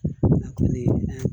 Na kulɛri